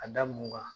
A da mun kan